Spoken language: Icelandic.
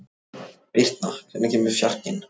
Birtna, hvenær kemur fjarkinn?